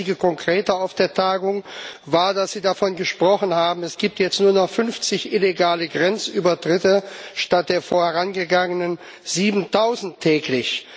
Das einzige Konkrete auf der Tagung war, dass Sie davon gesprochen haben, es gibt jetzt nur noch 50 illegale Grenzübertritte statt der vorangegangenen 7000 täglich.